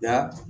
Nka